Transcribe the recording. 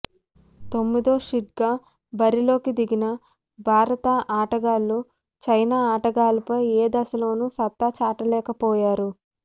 తొమ్మిదో సీడ్గా బరిలోకి దిగిన భారత ఆటగాళ్లు చైనా ఆటగాళ్లపై ఏ దశలోనూ సత్తా చాటలేకపోయారు